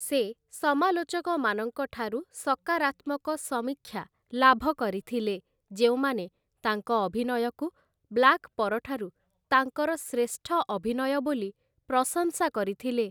ସେ, ସମାଲୋଚକମାନଙ୍କ ଠାରୁ ସକାରାତ୍ମକ ସମୀକ୍ଷା ଲାଭ କରିଥିଲେ ଯେଉଁମାନେ ତାଙ୍କ ଅଭିନୟକୁ 'ବ୍ଲାକ୍' ପରଠାରୁ ତାଙ୍କର ଶ୍ରେଷ୍ଠ ଅଭିନୟ ବୋଲି ପ୍ରଶଂସା କରିଥିଲେ ।